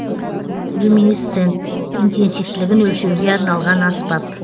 люминесцент интенсивтілігін өлшеуге арналған аспап